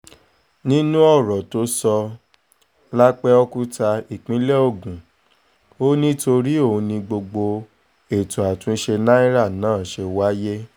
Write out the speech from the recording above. nínú ọ̀rọ̀ tó sọ lápẹ́ọ́kúta ìpínlẹ̀ ogun ò ní torí òun ni gbogbo ètò àtúnṣe náírà náà ṣe wáyé